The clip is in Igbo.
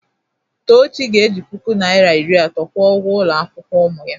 Tochi ga-eji puku naịra iri atọ kwụọ ụgwọ ụlọ akwụkwọ ụmụ m.